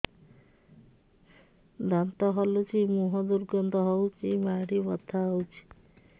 ଦାନ୍ତ ହଲୁଛି ମୁହଁ ଦୁର୍ଗନ୍ଧ ହଉଚି ମାଢି ବଥା ହଉଚି